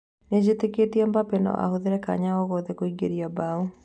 Nĩ nĩjĩtĩkĩtie Mbambe no ahũthĩre kanya o gothe kũingĩria mbaũ.